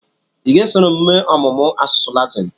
Ị ga-esoro m mee ọmụmụ asụsụ Latin?